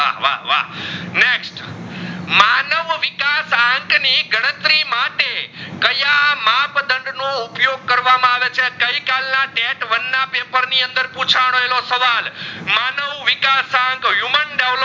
ના ટાંક ની ગણતરી માટે કયા માપ દંડ નું ઉપયોગ કરવામાં આવે છે ગઈ કાલ date one ના પેપર ની અંદર પૂછાનેલો સવાલ માનવ વિકાશ આખ human develop